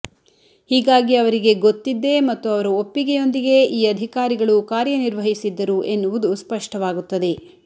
ಹೀಗಾಗಿ ಅವರಿಗೆ ಗೊತ್ತಿದ್ದೇ ಮತ್ತು ಅವರ ಒಪ್ಪಿಗೆಯೊಂದಿಗೇ ಈ ಅಧಿಕಾರಿಗಳು ಕಾರ್ಯ ನಿರ್ವಹಿಸಿದ್ದರು ಎನ್ನುವುದು ಸ್ಪಷ್ಟವಾಗುತ್ತದೆ